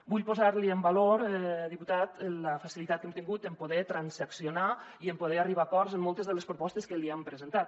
vull posar·li en valor diputat la facilitat que hem tingut en poder transaccionar i en poder arribar a acords en moltes de les propostes que li hem presentat